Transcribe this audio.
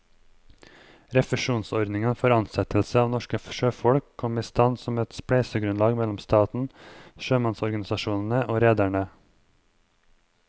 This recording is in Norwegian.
Refusjonsordningen for ansettelse av norske sjøfolk kom i stand som et spleiselag mellom staten, sjømannsorganisasjonene og rederne.